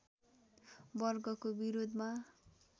वर्गको विरोधमा